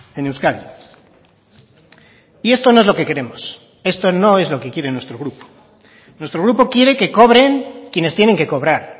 en euskadi y esto no es lo que queremos esto no es lo que quiere nuestro grupo nuestro grupo quiere que cobren quienes tienen que cobrar